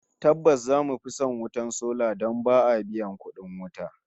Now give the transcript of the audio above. Tabbas zamu fi son wutar sola don ba biyan kudin wuta